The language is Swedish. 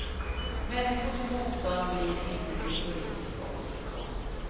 Människors motstånd blir inte till politisk opposition.